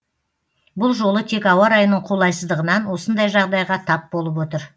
бұл жолы тек ауа райының қолайсыздығынан осындай жағдайға тап болып отыр